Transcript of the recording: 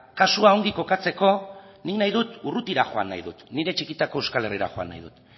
kasua ongi kokatzeko ni nahi dut urrutira joan nahi dut nire txikitako euskal herrira joan nahi dut